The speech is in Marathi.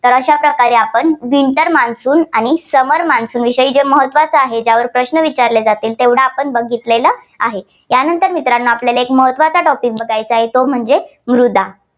तर अशा प्रकारे आपण winter monsoon आणि summer monsoon विषयी जे महत्त्वाचं आहे, ज्यावर प्रश्न विचारले जातील तेवढा आपण बघितलेलं आहे. त्यानंतर मित्रांनो आपल्याला एक महत्त्वाचा topic बघायचा आहे. तो म्हणजे मृदा.